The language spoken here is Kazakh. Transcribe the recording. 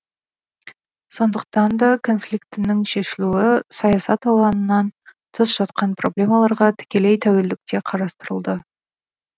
сондықтан да конфликтінің шешілуі саясат алаңынан тыс жатқан проблемаларға тікелей тәуелділікте қарастырылды